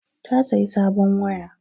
Ta sayi sabon waya